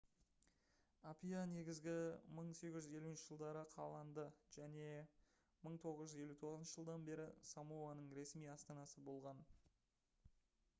апиа негізі 1850 жылдары қаланды және 1959 жылдан бері самоаның ресми астанасы болған